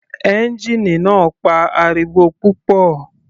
Ẹ́ngìnì náà ń pa ariwo púpọ̀.